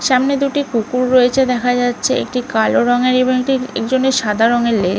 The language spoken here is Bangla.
সামনে দুটি কুকুর রয়েছে দেখা যাচ্ছে একটি কালো রংয়ের এবং একটি একজনের সাদা রংয়ের লে--